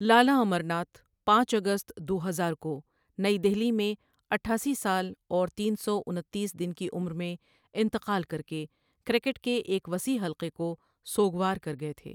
لالا امر ناتھ پانچ اگست دو ہزار کو نئی دہلی میں اٹھاسی سال اور تین سو انتیس دن کی عمر میں انتقال کرکٙے کرکٹ کے ایک وسیع حلقے کو سوگوار کر گئے تھے۔